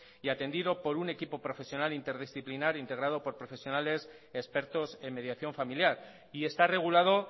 y atendido por un equipo profesional interdisciplinar integrado por profesionales expertos en mediación familiar y está regulado